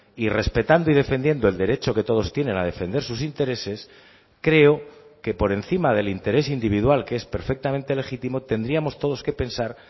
y respetando y defendiendo el derecho que todos tienen a defender sus intereses creo que por encima del interés individual que es perfectamente legítimo tendríamos todos que pensar